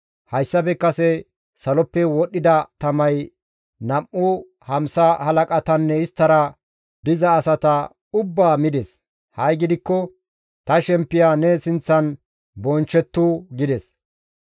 Hayssafe kase saloppe wodhdhida tamay nam7u hamsa halaqatanne isttara diza asata ubbaa mides; ha7i gidikko ta shemppiya ne sinththan bonchchettu» gides.